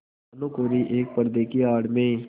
भानुकुँवरि एक पर्दे की आड़ में